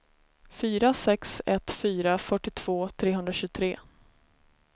fyra sex ett fyra fyrtiotvå trehundratjugotre